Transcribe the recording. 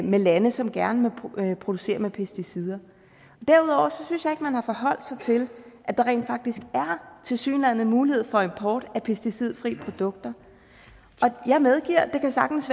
med lande som gerne må producere med pesticider derudover synes jeg ikke at man har forholdt sig til at der rent faktisk tilsyneladende er mulighed for import af pesticidfri produkter jeg medgiver at det sagtens